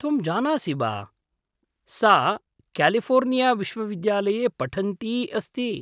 त्वं जानासि वा, सा क्यालिफोर्निया विश्वविद्यालये पठन्ती अस्ति।